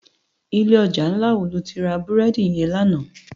Ilé òjá nlá wó lóti rá búrèdi yèn làná?